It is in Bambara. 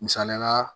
Misaliyala